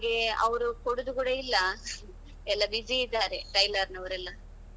ಹಾಗೆ ಅವರು ಕೊಡೂದು ಕೂಡಾ ಇಲ್ಲಾ, ಎಲ್ಲಾ busy ಇದ್ದಾರೆ tailor ನವರೆಲ್ಲಾ.